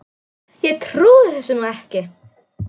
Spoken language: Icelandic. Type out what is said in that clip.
Ég trúi þessu nú ekki!